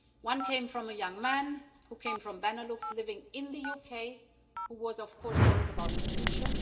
One came from a young man who came from Benelux living in the UK who was of course worried about his future.